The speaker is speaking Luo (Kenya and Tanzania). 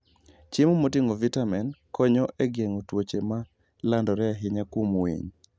Chiemo moting'o vitamin konyo e geng'o tuoche ma landore ahinya kuom winy.